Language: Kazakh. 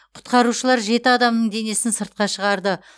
құтқарушылар жеті адамның денесін сыртқа шығарды